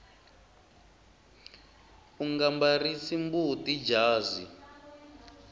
unga mbarisi mbuti jazi